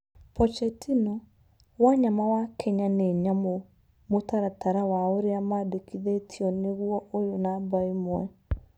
Pochettino: Wanyama wa Kenya nĩ 'nyamũ' mũtaratara wa ũrĩa maandĩkithĩtio nĩ guo uyu namba imwe.